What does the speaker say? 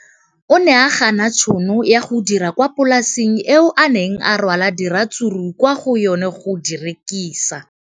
O ne a gana tšhono ya go dira kwa polaseng eo a neng rwala diratsuru kwa go yona go di rekisa.